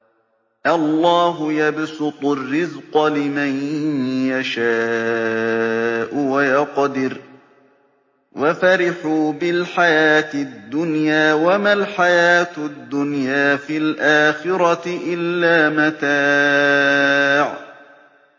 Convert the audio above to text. اللَّهُ يَبْسُطُ الرِّزْقَ لِمَن يَشَاءُ وَيَقْدِرُ ۚ وَفَرِحُوا بِالْحَيَاةِ الدُّنْيَا وَمَا الْحَيَاةُ الدُّنْيَا فِي الْآخِرَةِ إِلَّا مَتَاعٌ